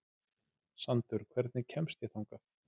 Sandur, hvernig kemst ég þangað?